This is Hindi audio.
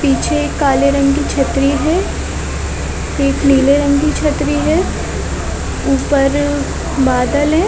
पीछे एक काले रंग की छतरी है एक नीले रंग की छतरी है। उपर बादल है।